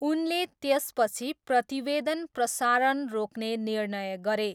उनले त्यसपछि प्रतिवेदन प्रसारण रोक्ने निर्णय गरे।